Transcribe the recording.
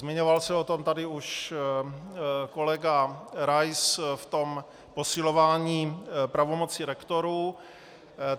Zmiňoval se o tom tady už kolega Rais v tom posilování pravomoci rektorů.